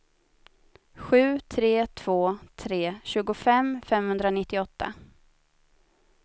sju tre två tre tjugofem femhundranittioåtta